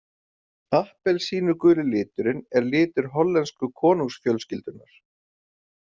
Appelsínuguli liturinn er litur hollensku konungsfjölskyldunnar.